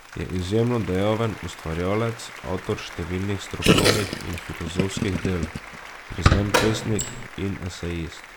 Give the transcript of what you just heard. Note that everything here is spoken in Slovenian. Je izjemno dejaven ustvarjalec, avtor številnih strokovnih in filozofskih del, priznan pesnik in esejist.